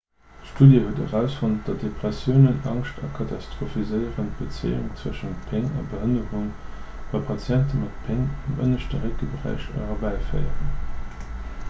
d'studie huet erausfonnt datt depressioun angscht a katastrophiséieren d'bezéiung tëschent péng a behënnerung bei patienten mat péng am ënneschte réckberäich erbäiféieren